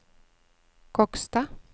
Kokstad